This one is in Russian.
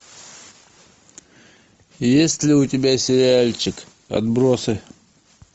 есть ли у тебя сериальчик отбросы